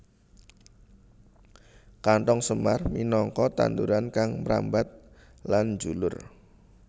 Kanthong semar minangka tanduran kang mrambat lan njulur